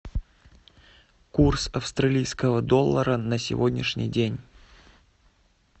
курс австралийского доллара на сегодняшний день